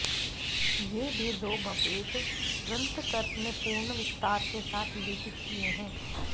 ये भेदोभपेद ग्रन्थकर ने पूर्ण विस्तार के साथ विवेचित किये हैं